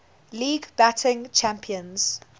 league batting champions